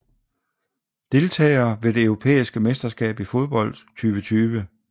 Deltagere ved det europæiske mesterskab i fodbold 2020